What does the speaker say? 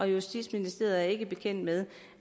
justitsministeriet er ikke bekendt med